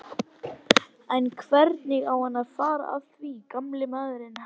En hvernig á hann að fara að því gamall maðurinn?